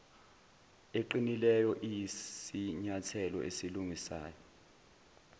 eqinileyo iyisinyathelo esilungisayo